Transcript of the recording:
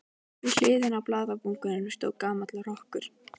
Við hliðina á blaðabunkanum stóð gamall rokkur.